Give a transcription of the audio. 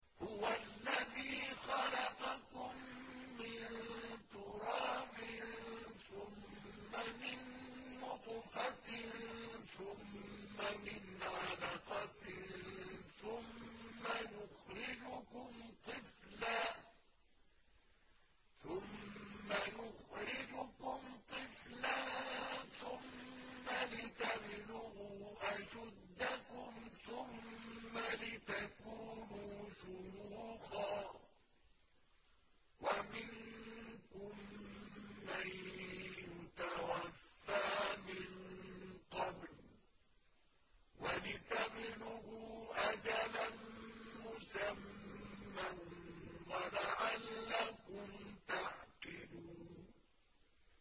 هُوَ الَّذِي خَلَقَكُم مِّن تُرَابٍ ثُمَّ مِن نُّطْفَةٍ ثُمَّ مِنْ عَلَقَةٍ ثُمَّ يُخْرِجُكُمْ طِفْلًا ثُمَّ لِتَبْلُغُوا أَشُدَّكُمْ ثُمَّ لِتَكُونُوا شُيُوخًا ۚ وَمِنكُم مَّن يُتَوَفَّىٰ مِن قَبْلُ ۖ وَلِتَبْلُغُوا أَجَلًا مُّسَمًّى وَلَعَلَّكُمْ تَعْقِلُونَ